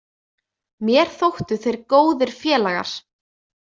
Mér þóttu þeir góðir félagar.